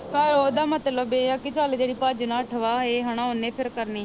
ਪਰ ਉਹਦਾ ਮਤਲਬ ਇਹ ਆ ਕਿ ਚੱਲ ਜਿਹੜੀ ਭੱਜ ਨੱਠ ਵਾ ਇਹ ਹਨਾ ਉਹਨੇ ਫਿਰ ਕਰਨੀ